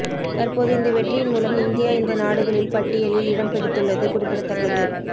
தற்போது இந்த வெற்றியின் மூலம் இந்தியா இந்த நாடுகளில் பட்டியலில் இடம் பிடித்துள்ளது குறிப்பிடத்தக்கது